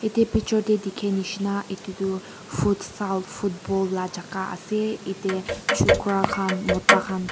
yate picture tae dikhinishina edu du futsal football laka jaka ase yate chokra khan mota khan.